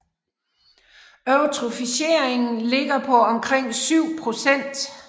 Eutrofieringen ligger på omkring syv procent